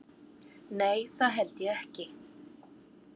Nei það held ég ekki.